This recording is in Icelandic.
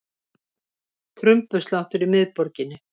Trumbusláttur í miðborginni